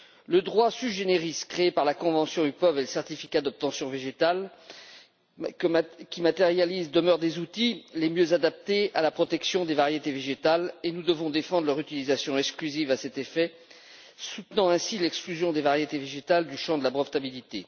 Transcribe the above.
Le droit sui generis créé par la convention UPOV et le certificat d'obtention végétale, qui le matérialise, demeurent les outils les mieux adaptés à la protection des variétés végétales, et nous devons défendre leur utilisation exclusive à cet effet, soutenant ainsi l'exclusion des variétés végétales du champ de la brevetabilité.